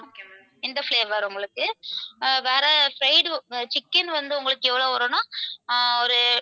இந்த flavour உங்களுக்கு வேற fried chicken வந்து உங்களுக்கு எவ்வளவு வரும்னா ஆஹ் ஒரு